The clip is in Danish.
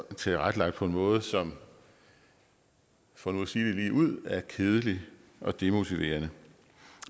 tilrettelagt på en måde som for nu at sige det ligeud er kedelige og demotiverende